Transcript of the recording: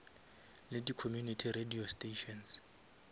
le di community radio stations